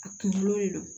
A kunkolo le don